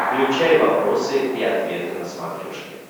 включай вопросы и ответы на смотрешке